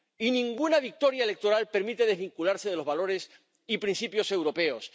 Y ninguna victoria electoral permite desvincularse de los valores y principios europeos.